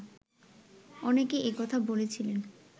অনেকে এই কথা বলেছিলেন